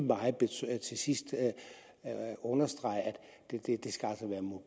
til sidst understrege at